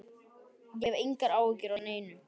Ég hef engar áhyggjur af neinu.